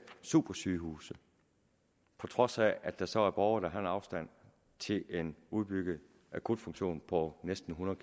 supersygehuse på trods af at der så er borgere der har en afstand til en udbygget akutfunktion på næsten hundrede